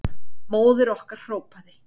Móðir okkar hrópaði.